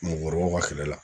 Mɔɔkɔrɔbaw ka kɛlɛ la